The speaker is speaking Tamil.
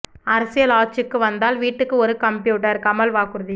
அரசியல் ஆட்சிக்கு வந்தால் வீட்டுக்கு ஒரு கம்ப்யூட்டர் கமல் வாக்குறுதி